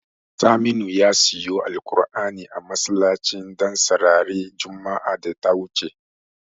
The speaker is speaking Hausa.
Saminu ya siyo alkur'ani a masallacin Ɗansarari juma'ar da ta wuce.